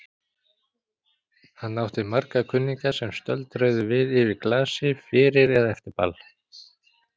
Hann átti marga kunningja sem stöldruðu við yfir glasi fyrir eða eftir ball.